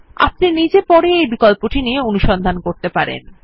আপনি নিজে পরে এই বিকল্পটি নিয়ে অনুসন্ধান করবেন